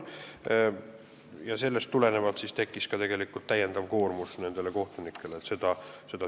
Sellest tulenevalt tekkis nendel kohtunikel lisakoormus.